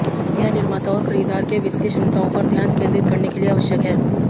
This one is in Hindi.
यह निर्माता और खरीदार के वित्तीय क्षमताओं पर ध्यान केंद्रित करने के लिए आवश्यक है